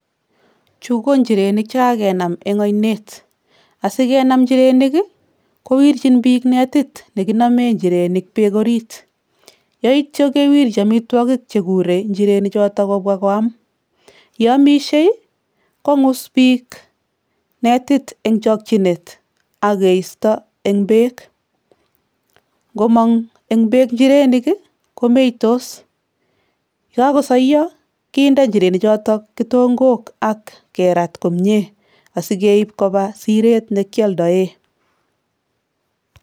Chuu ko nchirenik chekakenam en oinet, asikenam injirenik kii kowirchin bik netit nekinomen injirenik beek orit yeityoo kewirji omitwoki chekure inchirenik choton kobwa koam ye omishe kongus bik netit en chikinet ak keisto en beek, nkomong en beek inchirenik komeitos yekokosoyoo kiinde injireni choton kitonkok ak kerat komie asikeib koba siret nekioldoen.